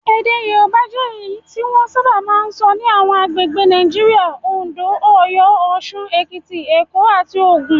Èdè Yorùbá jẹ́ èyí tí wọ́n sábà sọ ní àwọn agbègbè Nigeria; Oǹdó, Ọ̀yọ́, Òṣun, Èkìtì, Èkó, àti Ògùn.